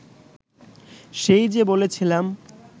সেই যে বলেছিলাম